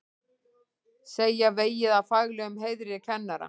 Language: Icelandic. Segja vegið að faglegum heiðri kennara